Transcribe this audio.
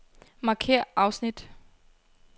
Markér afsnit.